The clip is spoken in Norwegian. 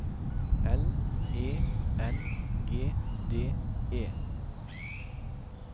L E N G D E